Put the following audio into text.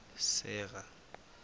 sera